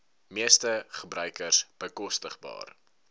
meeste gebruikers bekostigbaar